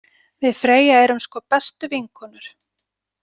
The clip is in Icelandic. Við Freyja erum sko bestu vinkonur.